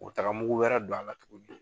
O taga mugu wɛrɛ don a la tuguni